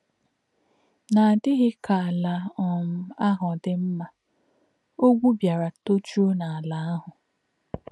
N’ádí̄ghí̄ kā̄ àlà̄ um àhū̄ dì̄ mmà̄, ọ̀gwù̄ bì̄árà̄ tò̄jù̄ó̄ n’álà̄ āhū̄.